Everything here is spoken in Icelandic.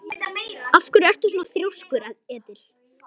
Af hverju ertu svona þrjóskur, Edil?